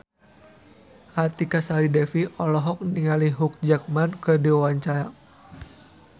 Artika Sari Devi olohok ningali Hugh Jackman keur diwawancara